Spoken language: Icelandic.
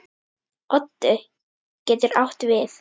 Oddi getur átt við